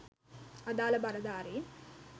අදාල බලධාරීන්